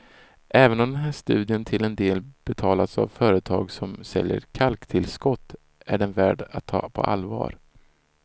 Även om den här studien till en del betalats av ett företag som säljer kalktillskott är den värd att ta på allvar.